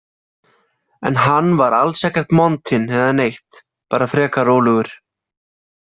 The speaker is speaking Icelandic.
En hann var alls ekkert montinn eða neitt, bara frekar rólegur.